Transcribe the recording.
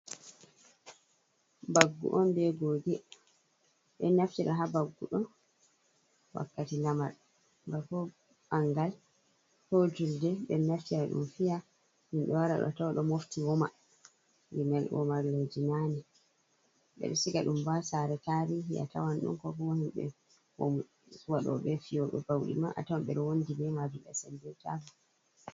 Mbaggu on be goge. Ɓen naftira ha mbaggu ɗo wakkati lamar, bako ɓangal, ko julde. Ɓen naftira ɗum fiya. Himɓe wara a tawa ɗo mofti woma. Gimel womarleji nane. Ɓe siga ɗum bo ha saare tarihi a tawan ɗum ko kuma himɓe waɗoɓe fiwoɓe bauɗi ma a tawan ber wondi be maajum ɓe sendir taa.